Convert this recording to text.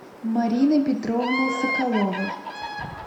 мариной петровной соколовой